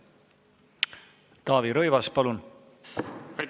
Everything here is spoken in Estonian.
Taavi Rõivas, palun!